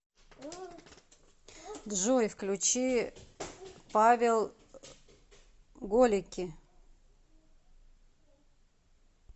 джой включи павел голеки